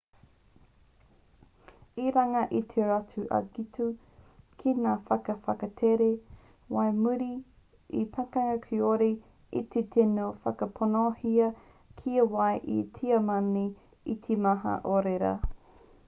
i runga i tō rātou angitu ki ngā waka whakatakere whai muri i te pakanga kāore i te tino whakaponohia kia whai ngā tiamani i te maha o ērā